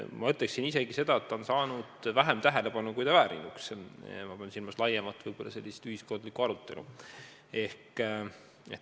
Ma ütleksin isegi seda, et see on saanud vähem tähelepanu, kui väärinuks – ma pean silmas sellist laiemat ühiskondlikku arutelu.